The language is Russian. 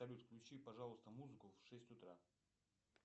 салют включи пожалуйста музыку в шесть утра